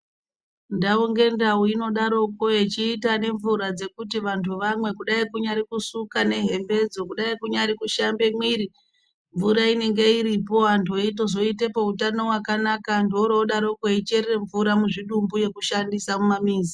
Ndawu nendawu inodarokwo yechiita nemvura dzekuti vantu vamwe kudai kunyari kusuka nehembe idzo kudai kunyari kushambe mwiri mvura inenge iripo antu veyizoitepo utano wakanaka antu orodaroko eyicherere mvura muzvidumbu yekushandisa mumamizi.